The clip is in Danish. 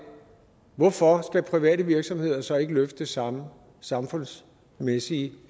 hvorfor skal private virksomheder så ikke løfte det samme samfundsmæssige